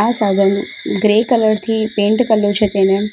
આ સાધન grey colour થી પેન્ટ કર્યું છે તેને --